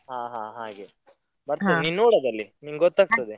ಹಾ ಹಾ ಹಾಗೆ, ನೋಡು ಅದ್ರಲ್ಲಿ ನಿಂಗ್ ಗೂತ್ತಾಗ್ತದೆ.